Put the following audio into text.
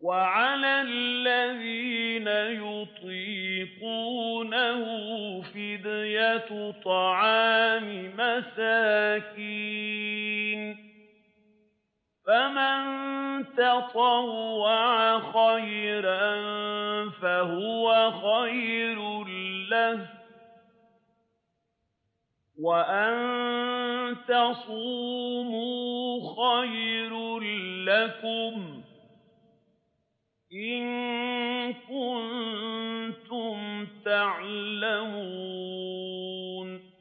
وَعَلَى الَّذِينَ يُطِيقُونَهُ فِدْيَةٌ طَعَامُ مِسْكِينٍ ۖ فَمَن تَطَوَّعَ خَيْرًا فَهُوَ خَيْرٌ لَّهُ ۚ وَأَن تَصُومُوا خَيْرٌ لَّكُمْ ۖ إِن كُنتُمْ تَعْلَمُونَ